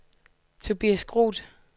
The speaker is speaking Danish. Tobias Groth